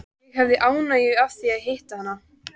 Ég hefði ánægju af því að hitta hana.